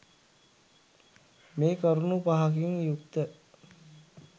මේ කරුණු පහකින් යුක්ත